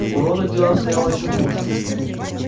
у рона дело обстояло ещё хуже